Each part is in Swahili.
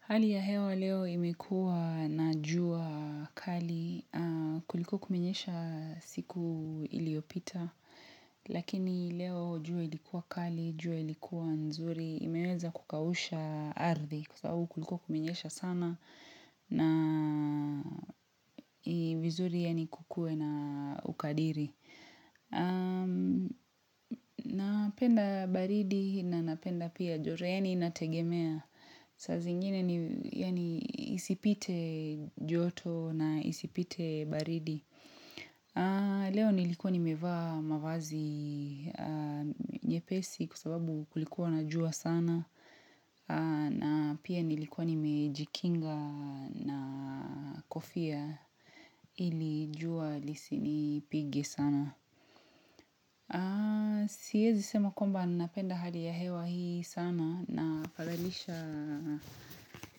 Hali ya hewa leo imekua na jua kali, kuliko kuminyesha siku iliopita, lakini leo jua ilikuwa kali, jua ilikuwa nzuri, imeweza kukawusha ardhi kwa sababu kuliko kuminyesha sana na vizuri ya ni kukue na ukadiri. Na penda baridi na napenda pia joreeni na tegemea saa zingine isipite joto na isipite baridi Leo nilikuwa nimevaa mavazi nye pesi kwa sababu kulikuwa na jua sana na pia nilikuwa nimejikinga na kofia ilijua lisini pige sana Si hezi sema kwamba napenda hali ya hewa hii sana na falalisha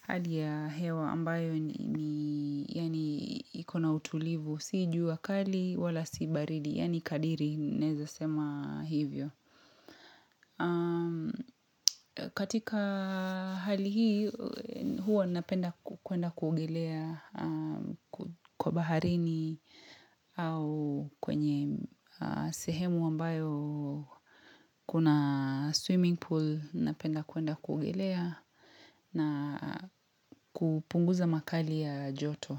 hali ya hewa ambayo ni yaani ikona utulivu siiju wakali wala sibaridi yaani kadiri naweza sema hivyo. Katika hali hii huo napenda kuenda kuogelea kwa baharini au kwenye sehemu ambayo kuna swimming pool napenda kuenda kuogelea na kupunguza makali ya joto.